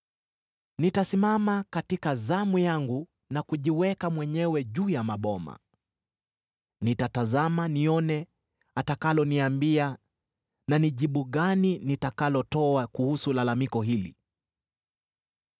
Nitasimama katika zamu yangu, na kujiweka mwenyewe juu ya maboma; nitatazama nione atakaloniambia, na ni jibu gani nitakalotoa kuhusu lalamiko hili.